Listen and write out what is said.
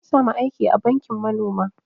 Na sami aiki a banki manoma